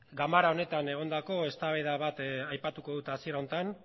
ganbera honetan egondako eztabaida bat aipatuko dut hasiera honetan